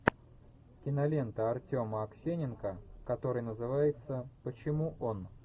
кинолента артема аксененко которая называется почему он